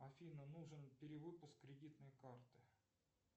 афина нужен перевыпуск кредитной карты